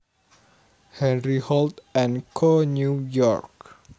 Henry Holt and Co New York